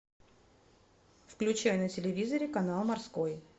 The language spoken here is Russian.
включай на телевизоре канал морской